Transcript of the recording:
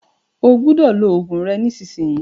Ó gbọ́dọ̀ lo oògùn rẹ nísìsiyìí!